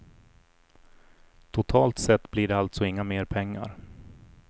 Totalt sett blir det alltså inga mer pengar.